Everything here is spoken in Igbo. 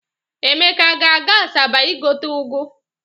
Emeka aga-aga Asaba igote ụgụ?